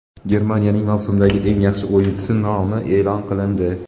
Germaniyaning mavsumdagi eng yaxshi o‘yinchisi nomi e’lon qilindi.